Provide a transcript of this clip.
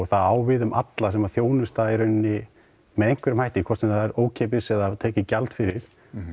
það á við um alla sem að þjónusta með einhverjum hætti hvort sem það er ókeypis eða tekið gjald fyrir